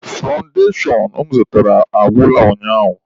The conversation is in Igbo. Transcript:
Fandashon m zụtara agwụla ụnyaahụ